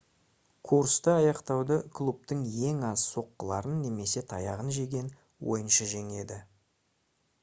курсты аяқтауды клубтың ең аз соққыларын немесе таяғын жеген ойыншы жеңеді